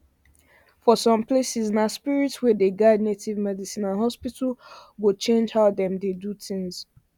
for some places na spirit way dey guide native medicine and hospital go change how dem dey do things